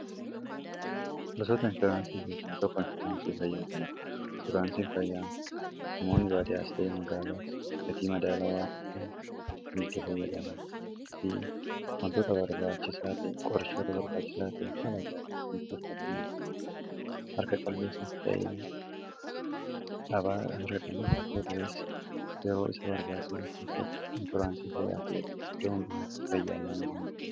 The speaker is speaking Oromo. Gosoonni inshuraansii baayyeetu jiru. Faayidaa madaalamuu hin dandeenye fi bakka bu’iinsa hin qabne qaba. Jireenya guyyaa guyyaa keessatti ta’ee, karoora yeroo dheeraa milkeessuu keessatti gahee olaanaa taphata. Faayidaan isaa kallattii tokko qofaan osoo hin taane, karaalee garaa garaatiin ibsamuu danda'a.